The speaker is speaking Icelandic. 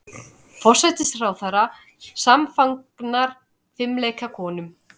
Forsætisráðherra samfagnar fimleikakonum